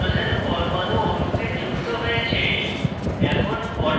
দুটি hydrogen পরমাণু অণুতে যুক্ত হয়েছে